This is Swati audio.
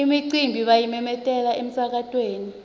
imicimbi bayimemetela emsakatweni